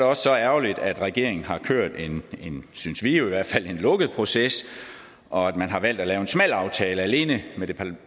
også så ærgerligt at regeringen har kørt en synes vi i hvert fald lukket proces og at man har valgt at lave en smal aftale alene med det